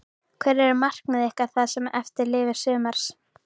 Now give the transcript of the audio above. Hver eru markmið ykkar það sem eftir lifir sumars?